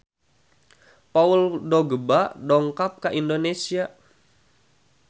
Paul Dogba dongkap ka Indonesia